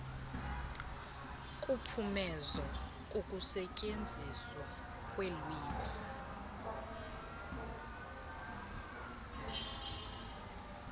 kuphumezo kukusetyenziswa kwelwimi